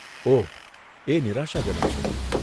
ઓહ, એ નિરાશાજનક છે.